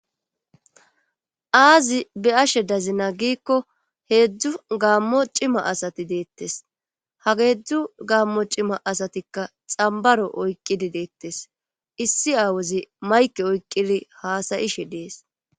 aazi be ashe dazina giikko heedzdzu gaammo cima asati deettes ha geedzdzu gaammo cima asatikka xambaro oyqqidi deettes issi aawozi mayke oyqqidi haasayishe dees